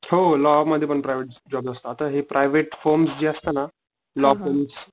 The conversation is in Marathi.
हो लॉ मध्ये पण प्रायव्हेट जॉब असता आता हे प्रायव्हेट होम्स जे असत ना, ला